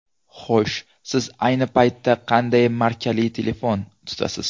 Xo‘sh, siz ayni paytda qanday markali telefon tutasiz?